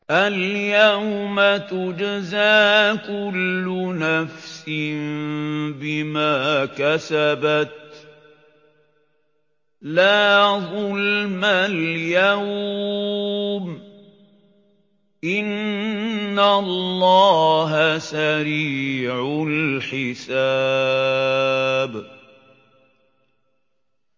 الْيَوْمَ تُجْزَىٰ كُلُّ نَفْسٍ بِمَا كَسَبَتْ ۚ لَا ظُلْمَ الْيَوْمَ ۚ إِنَّ اللَّهَ سَرِيعُ الْحِسَابِ